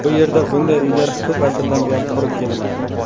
Bu yerda bunday uylar ko‘p asrdan buyon qurib kelinadi.